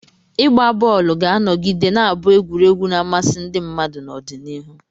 Ịgba bọọlụ ga-anọgide na-abụ egwuregwu na-amasị ndị mmadụ n'ọdịnihu.